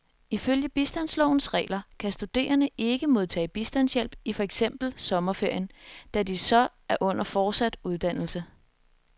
Ifølge bistandslovens regler kan studenterne ikke modtage bistandshjælp i for eksempel sommerferien, da de så er under fortsat uddannelse.